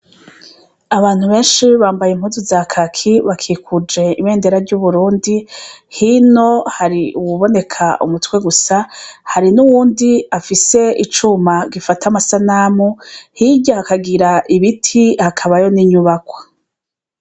Abantu benshi bambaye impuzu za kaki bakikuje ibendera ry'Uburundi hino hari uwuboneka umutwe gusa hari nuwundi afise icuma gifata amasanamu, hirya hakagira ibiti hakabayo ni nyubakwa.